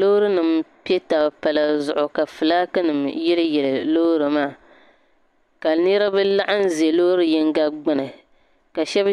Loori nim pɛ taba palli zuɣu ka flaaki nim yili yili loori maa ka niriba laɣim ʒe loori yinga gbuni ka shɛba